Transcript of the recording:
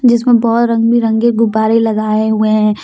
जिसमें बहोत रंग बिरंगे गुब्बारे लगाए हुए हैं।